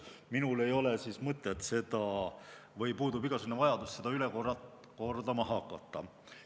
Minul puudub igasugune vajadus seda üle kordama hakata.